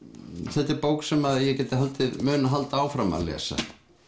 þetta er bók sem ég mun halda áfram að lesa